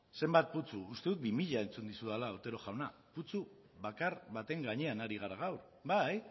zenbat putzu uste dut bi mila entzun dizudala otero jauna putzu bakar baten gainean ari gara gaur bai